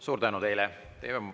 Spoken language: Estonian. Suur tänu teile!